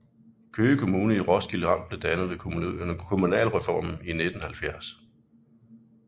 Køge Kommune i Roskilde Amt blev dannet ved kommunalreformen i 1970